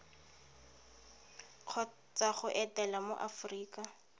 kgotsa go etela mo aforika